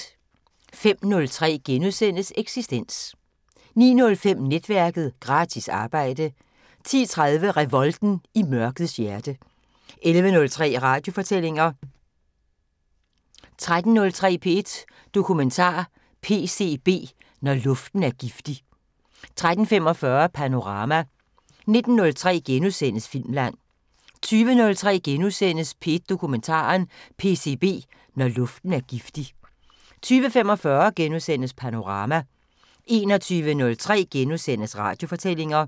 05:03: Eksistens * 09:05: Netværket: Gratis arbejde 10:03: Revolten i mørkets hjerte 11:03: Radiofortællinger 13:03: P1 Dokumentar: PCB – Når luften er giftig 13:45: Panorama 19:03: Filmland * 20:03: P1 Dokumentar: PCB – Når luften er giftig * 20:45: Panorama * 21:03: Radiofortællinger *